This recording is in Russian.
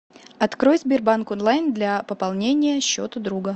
открой сбербанк онлайн для пополнения счета друга